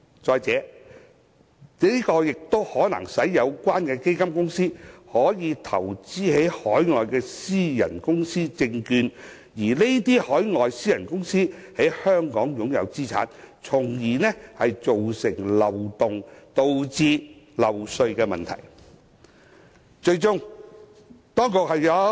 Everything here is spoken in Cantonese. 再者，這亦可能使有關基金公司投資於海外的私人公司證券，而這些海外私人公司可能在香港擁有資產，從而造成漏洞，導致漏稅的問題。